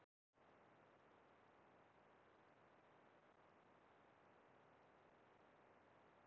Hraði kann stundum að vera nauðsynlegur ef markmiðið með hækkuninni á að nást.